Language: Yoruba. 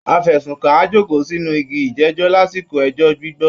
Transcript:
Afẹ̀sùnkàn á jókòó sínú igi ìjẹ́jọ́ lásìkò ẹjọ́ gbígbọ́